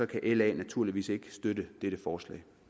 kan la naturligvis ikke støtte dette forslag